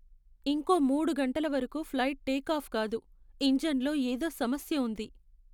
ఇంకో మూడు గంటల వరకు ఫ్లైట్ టేకాఫ్ కాదు. ఇంజన్లో ఏదో సమస్య ఉంది.